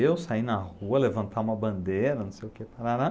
Eu sair na rua, levantar uma bandeira, não sei o que, parará.